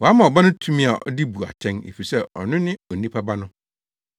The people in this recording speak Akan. Wama Ɔba no tumi a ɔde bu atɛn, efisɛ ɔno ne Onipa Ba no.